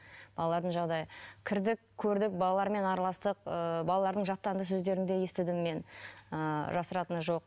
балалардың жағдайы кірдік көрдік балалармен араластық ыыы балалардың жаттанды сөздерін де естідім мен ы жасыратыны жоқ